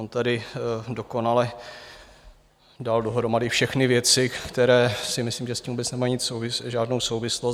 On tady dokonale dal dohromady všechny věci, které si myslím, že s tím vůbec nemají žádnou souvislost.